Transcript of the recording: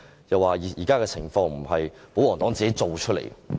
又說現時的情況並非保皇黨造出來的。